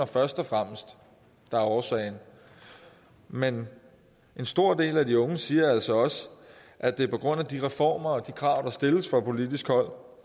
først og fremmest er årsagen men en stor del af de unge siger altså også at det er på grund af de reformer og de krav der stilles fra politisk hold